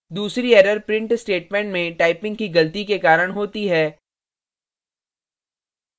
दूसरी error print statement में typing की गलती के कारण होती है